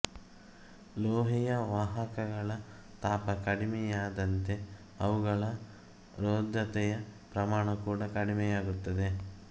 ಲೋಹೀಯ ವಾಹಕಗಳ ತಾಪ ಕಡಿಮೆಯಾದಂತೆ ಅವುಗಳ ರೋಧತೆಯ ಪ್ರಮಾಣ ಕೂಡ ಕಡಿಮೆಯಾಗುತ್ತದೆ